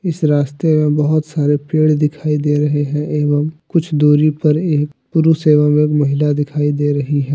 इस रास्ते में बहोत सारे पेड़ दिखाई दे रहे हैं एवं कुछ दूरी पर एक पुरुष एवं एक महिला दिखाई दे रही है।